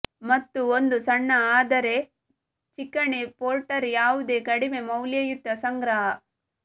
ಮತ್ತು ಒಂದು ಸಣ್ಣ ಆದರೆ ಚಿಕಣಿ ಪೋರ್ಟರ್ ಯಾವುದೇ ಕಡಿಮೆ ಮೌಲ್ಯಯುತ ಸಂಗ್ರಹ